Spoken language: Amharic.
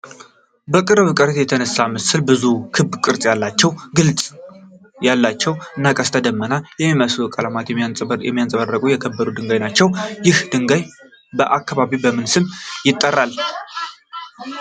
በቅርብ ርቀት የተነሳው ምስል ብዙ ክብ ቅርጽ ያላቸው፣ ግልጽነት ያላቸው እና ቀስተ ደመና የሚመስሉ ቀለማት የሚያንጸባርቁ የከበሩ ድንጋዮች ናቸው። ይህ ድንጋይ በአካባቢው በምን ስም ይጠራል?